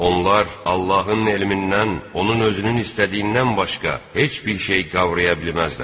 Onlar Allahın elmindən onun özünün istədiyindən başqa heç bir şey qavraya bilməzlər.